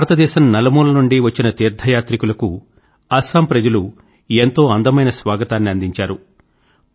భారతదేశం నలుమూలల నుండి వచ్చిన తీర్థయాత్రికులను అస్సాం ప్రజలు ఎంతో అందమైన స్వాగతాన్ని అందించారు